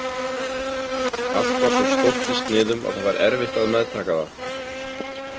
Allt var svo stórt í sniðum að það var erfitt að meðtaka það.